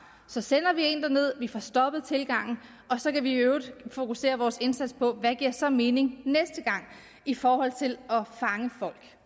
så sender vi en derned vi får stoppet tilgangen og så kan vi i øvrigt fokusere vores indsats på hvad der så giver mening næste gang i forhold til at fange folk